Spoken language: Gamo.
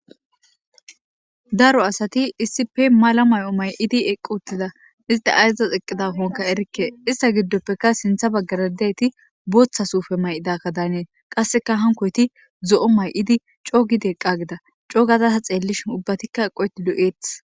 Daro asati issippe mala mayo may'id eqi utida. Isit ayzas eqidakonka erike ista gidopekka sintha bagara diyayit bootha suupe may'daka Danes qaseka hankoyti zo'o may'id co gidi eqa gida co gada ta xelishn ubbatika eqoyt lo'etes.